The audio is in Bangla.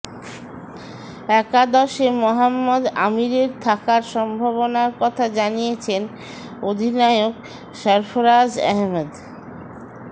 একাদশে মোহাম্মদ আমিরের থাকার সম্ভাবনার কথা জানিয়েছেন অধিনায়ক সরফরাজ আহমেদ